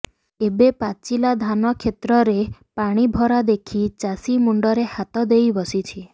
ଏବେ ପାଚିଲା ଧନା କ୍ଷେତରେ ପାଣିଭରା ଦେଖି ଚାଷୀ ମୁଣ୍ଡରେ ହାତ ଦେଇ ବସିଛି